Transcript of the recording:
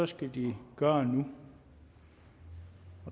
skal de gøre det nu